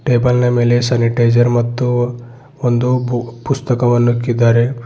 Table ನ ಮೇಲೆ sanitiser ಮತ್ತು ಒಂದು ಬು ಪುಸ್ತಕವನ್ನು ಇಕ್ಕಿದ್ದಾರೆ.